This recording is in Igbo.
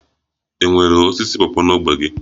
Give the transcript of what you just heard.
Enwere osisi pawpaw n'ógbè gị?